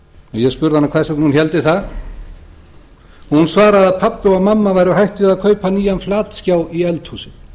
ég spurði hana hvers vegna hún héldi það hún svaraði að pabbi og mamma væru hætt við að kaupa nýjan flatskjá í eldhúsið